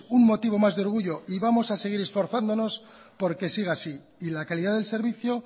un motivo más de orgullo y vamos a seguir esforzándonos porque siga así y la calidad del servicio